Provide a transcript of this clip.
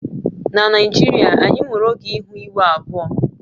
Na Naijiria, anyị nwere oge ihu igwe abụọ